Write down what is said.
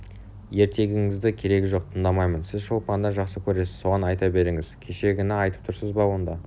ертегіңіздің керегі жоқ тыңдамаймын сіз шолпанды жақсы көресіз соған айта беріңіз кешегіні айтып тұрсың ба онда